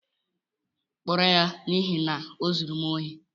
Kpụrụ ya n'ihi na o zụrụ m óri